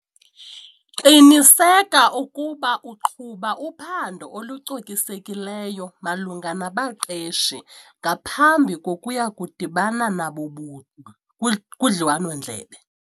Qiniseka ukuba uqhuba uphando olucokisekileyo malunga nabaqeshi ngaphambi kokuya kudibana nabo buqu kudliwano-ndlebe.